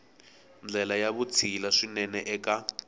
ndlela ya vutshila swinene eka